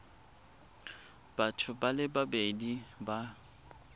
batho ba le babedi ba